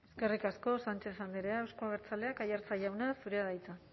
eskerrik asko sánchez andrea eusko abertzaleak aiartza jauna zurea da hitza